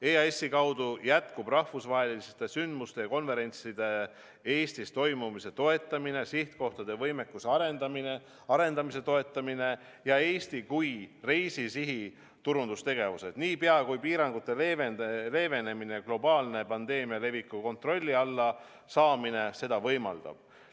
EAS-i kaudu jätkub rahvusvaheliste ürituste, sh konverentside Eestis toimumise toetamine, sihtkohtade võimekuse arendamise toetamine ja Eesti kui reisisihi turundamisega seotud tegevused, niipea kui piirangute leevenemine, globaalne pandeemia leviku kontrolli alla saamine seda võimaldab.